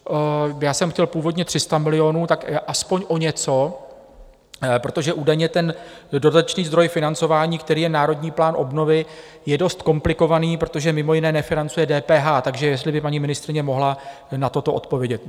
Já jsem chtěl původně 300 milionů, tak aspoň o něco, protože údajně ten dodatečný zdroj financování, který je Národní plán obnovy, je dost komplikovaný, protože mimo jiné nefinancuje DPH, takže jestli by paní ministryně mohla na toto odpovědět.